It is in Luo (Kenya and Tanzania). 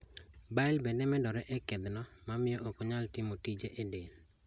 Bile bende medore e kedhno mamiyo okonyal timo tije e del